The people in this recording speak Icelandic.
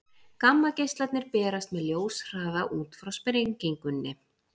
gammageislarnir berast með ljóshraða út frá sprengingunni